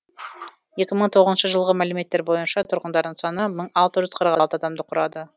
екі мың тоғызыншы жылғы мәліметтер бойынша тұрғындарының саны мың алты жүз қырық алты адамды құрады